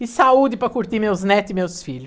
E saúde para curtir meus neto e meus filho.